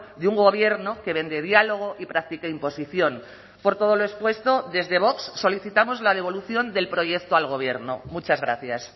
de un gobierno que vende diálogo y practica imposición por todo lo expuesto desde vox solicitamos la devolución del proyecto al gobierno muchas gracias